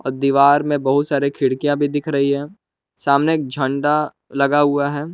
और दीवार में बहुत सारे खिड़कियां भी दिख रही हैं सामने एक झंडा लगा हुआ है।